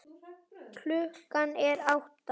Klukkan er átta.